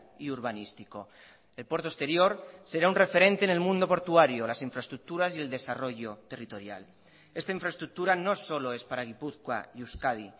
y urbanístico el puerto exterior será un referente en el mundo portuario las infraestructuras y el desarrollo territorial esta infraestructura no solo es para gipuzkoa y euskadi